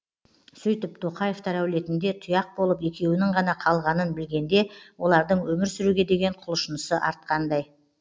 сөйтіп тоқаевтар әулетінде тұяқ болып екеуінің ғана қалғанын білгенде олардың өмір сүруге деген құлшынысы артқандай